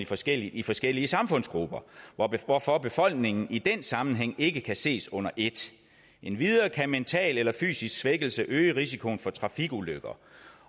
forskellige i forskellige samfundsgrupper hvorfor befolkningen i den sammenhæng ikke kan ses under et endvidere kan mental eller fysisk svækkelse øge risikoen for trafikulykker